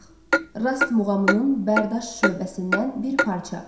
Rast muğamının Bərdüşt şöbəsindən bir parça.